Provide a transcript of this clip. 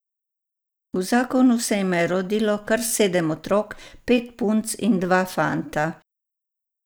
V zakonu se jima je rodilo kar sedem otrok, pet punc in dva fanta.